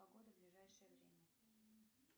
погода в ближайшее время